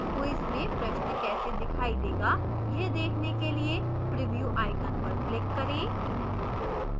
quiz में प्रश्न कैसे दिखाई देगा यह देखने के लिए preview icon पर click करें